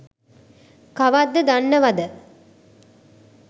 කවද්ද දනන්වද?